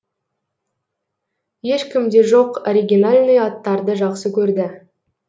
ешкімде жоқ оригинальный аттарды жақсы көрді